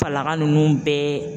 Falaka ninnu bɛɛ